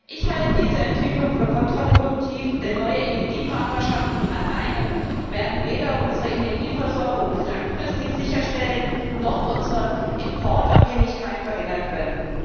Ich halte diese Entwicklung für kontraproduktiv, denn neue Energiepartnerschaften alleine werden weder unsere Energieversorgung langfristig sicherstellen noch unsere Importabhängigkeit verringern können.